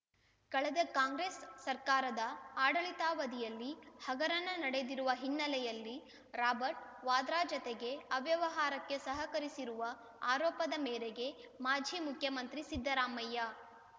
ಕಳೆದ ಕಾಂಗ್ರೆಸ್‌ ಸರ್ಕಾರದ ಆಡಳಿತಾವಧಿಯಲ್ಲಿ ಹಗರಣ ನಡೆದಿರುವ ಹಿನ್ನೆಲೆಯಲ್ಲಿ ರಾಬರ್ಟ್‌ ವಾದ್ರಾ ಜತೆಗೆ ಅವ್ಯವಹಾರಕ್ಕೆ ಸಹಕರಿಸಿರುವ ಆರೋಪದ ಮೇರೆಗೆ ಮಾಜಿ ಮುಖ್ಯಮಂತ್ರಿ ಸಿದ್ದರಾಮಯ್ಯ